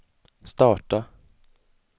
starta